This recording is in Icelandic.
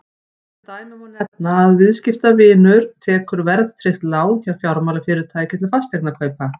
sem dæmi má nefna að viðskiptavinur tekur verðtryggt lán hjá fjármálafyrirtæki til fasteignakaupa